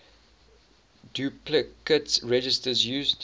duplicate registers used